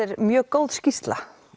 mjög góð skýrsla